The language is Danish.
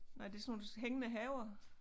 Nej det sådan nogle hængende haver